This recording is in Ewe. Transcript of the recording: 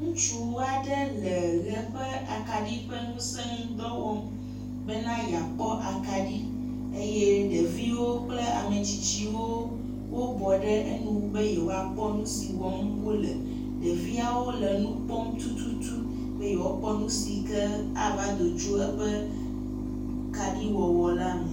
Ŋutsu aɖe le ʋe ƒe akaɖi ƒe ŋuse ŋu dɔ wɔm bena yeakpɔ akaɖi eye ɖeviwo kple ame tsitsiwo bɔ ɖe eŋu be yewoakpɔ nu si wɔm wole. Ɖeviawo le nu kpɔm tututu be yewoakpɔ nu si ke ava do tso woƒe akaɖi wɔwɔ la me.